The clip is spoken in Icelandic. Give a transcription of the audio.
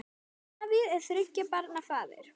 Davíð er þriggja barna faðir.